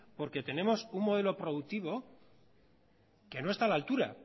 porque tenemos un modelo productivo que no está a la altura